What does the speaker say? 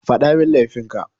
Faɗamin laifin ka.